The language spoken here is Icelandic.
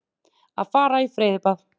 Að fara í freyðibað.